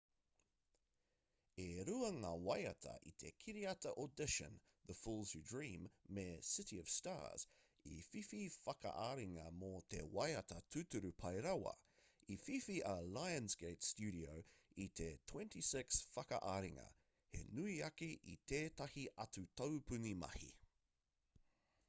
e rua ngā waiata i te kiriata audition the fools who dream me city of stars i whiwhi whakaaringa mō te waiata tūturu pai rawa. i whiwhi a lionsgate studio i te 26 whakaaringa - he nui ake i tētahi atu taupuni mahi